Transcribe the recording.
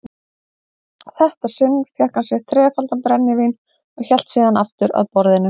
þetta sinn fékk hann sér þrefaldan brennivín og hélt síðan aftur að borðinu.